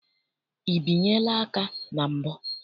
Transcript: I binyela aka na mbụ?